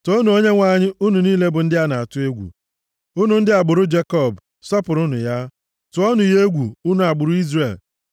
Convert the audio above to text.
Toonu Onyenwe anyị! Unu niile bụ ndị na-atụ egwu ya; unu bụ ndị agbụrụ Jekọb, sọpụrụnụ ya! Tụọnụ ya egwu, unu agbụrụ Izrel!